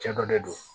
Cɛ dɔ de don